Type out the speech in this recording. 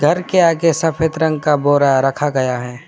घर के आगे सफेद रंग का बोरा रखा गया है।